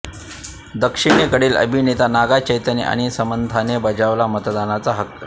दक्षिणेकडील अभिनेता नागा चैतन्न आणि सामंथाने बजावला मतदानाचा हक्क